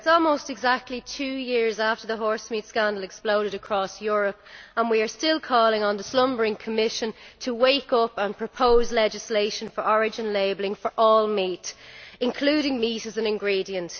Mr President, it is almost exactly two years after the horsemeat scandal exploded across Europe, and we are still calling on the slumbering Commission to wake up and propose legislation for origin labelling for all meat, including meat as an ingredient.